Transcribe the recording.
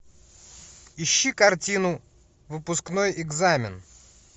ищи картину выпускной экзамен